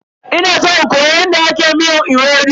Ina san in koyi yadda ake miyar ewedu.